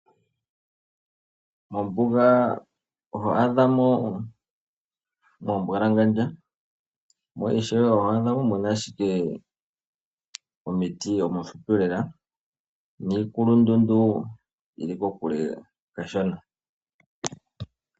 Mombuga oho adha mo mwa mbwalangandja mo ishewe oho adha mo muna ashike omiti omifupi lela niikulundundu yili kokule kashona.